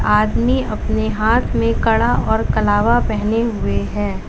आदमी अपने हाथ में कड़ा और कलावा पहने हुए हैं।